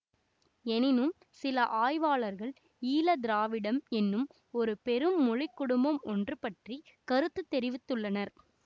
எனினும் சில ஆய்வாளர்கள் ஈலதிராவிடம் என்னும் ஒரு பெரும் மொழி குடும்பம் ஒன்று பற்றி கருத்து தெரிவித்து உள்ளனர்